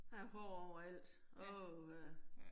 Der hår overalt. Åh ha